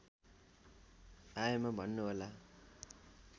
आएमा भन्नुहोला